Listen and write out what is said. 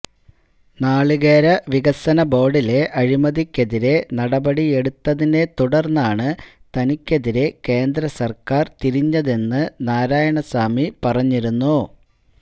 നാളികേര വികസന ബോര്ഡിലെ അഴിമതിക്കെതിരെ നടപടിയെടുത്തതിനെ തുടര്ന്നാണ് തനിക്കെതിരെ കേന്ദ്ര സര്ക്കാര് തിരിഞ്ഞതെന്നു നാരായണസ്വാമി പറഞ്ഞിരുന്നു